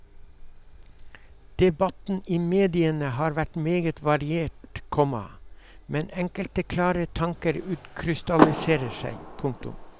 Debatten i mediene har vært meget variert, komma men enkelte klare tanker utkrystalliserer seg. punktum